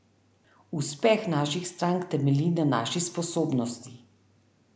Uspeh naših strank temelji na naši sposobnosti.